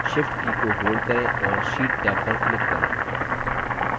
shift की को hold करें और sheet टैब पर click करें